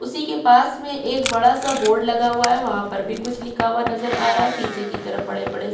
उसी के पास में एक बड़ा सा बोर्ड लगा हुआ है वहाँ पर भी कुछ लिखा हुआ नज़र आ रहा है पीछे की तरफ बड़े-बड़े से --